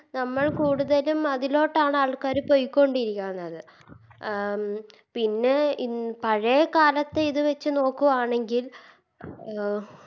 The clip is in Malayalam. നമ്മൾ കൂടുതലും അതിലോട്ടാണ് ആൾക്കാര് പോയ്കൊണ്ടിരിക്കുന്നത് അഹ് പിന്നെ ഇൻ പഴയ കാലത്തേ ഇത് വെച്ച് നോക്കു ആണെങ്കിൽ അഹ്